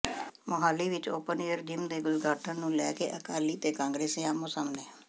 ਮੁਹਾਲੀ ਵਿੱਚ open air gym ਦੇ ਉਦਘਾਟਨ ਨੂੰ ਲੈ ਕੇ ਅਕਾਲੀ ਤੇ ਕਾਂਗਰਸੀ ਆਹਮੋ ਸਾਹਮਣੇ